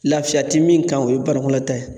Lafiya ti min kan o ye banakɔla taa ye.